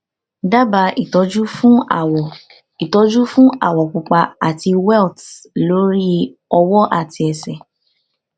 dábàá ìtọ́jú fún àwọ̀ ìtọ́jú fún àwọ̀ pupa àti welts lórí ọwọ́ àti ẹsẹ̀